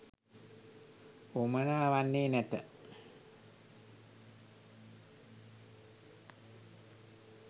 වුවමනා වන්නේ නැත.